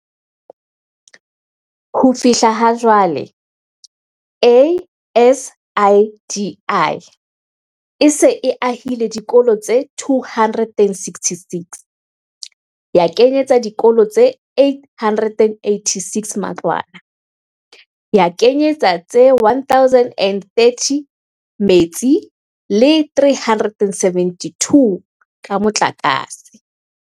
Ho fihla ha jwale, ASIDI e se e ahile dikolo tse 266, ya kenyetsa dikolo tse 886 matlwana, ya kenyetsa tse 1030 metsi le tse 372 ka motlakase.